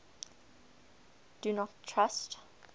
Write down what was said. do not trust